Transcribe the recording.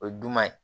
O ye dunan ye